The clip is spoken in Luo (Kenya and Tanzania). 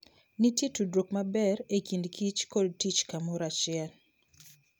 Nitie tudruok maber e kindkich kod tich kamoro achiel.